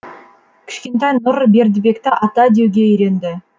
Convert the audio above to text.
кішкентай нұр бердібекті ата деуге үйренді